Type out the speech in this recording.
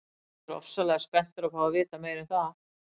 Ég er ofsalega spenntur að fá að vita meira um það.